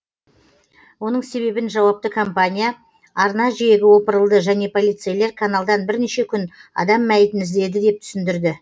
оның себебін жауапты компания арна жиегі опырылды және полицейлер каналдан бірнеше күн адам мәйітін іздеді деп түсіндірді